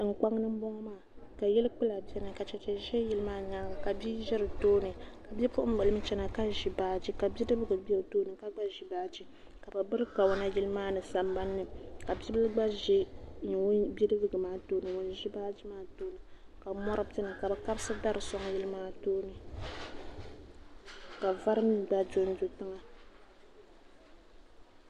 tinkpaŋa m-bɔŋɔ maa ka yili kpula beni ka cheche ʒi yili maa nyaaga ka bia ʒe di tooni bipuɣin' bila m-chana ka ʒi baaji ka bidibiga be o tooni ka gba ʒi baaji ka bɛ biri kawana yili maa ni sambani ka bi' bila gba ʒe bidibiga maa tooni ŋun ʒi baaji maa tooni ka mɔri beni ka bɛ kabisi dari sɔŋ yili maa tooni ka vari mi gba do n-do tiŋa.